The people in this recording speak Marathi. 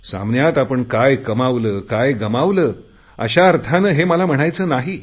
सामन्यात आपण काय कमावले काय गमावले अशा अर्थाने मला हे म्हणायचे नाही